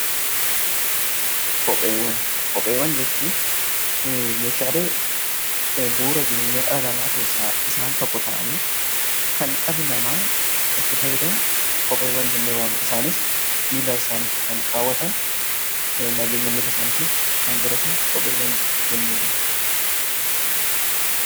Kopheewwan. Kopheewwan jechuun meeshaalee bu'uura jireenyaa dhala namaa keessaa isaan tokko ta'anii kan dhalli namaa itti fayyadamu kopheewwan jennee waamna isaannis miilla isaaniitti kan kaawwatan, nageenya miilla isaaniif kan godhatan kopheewwan jennee waamna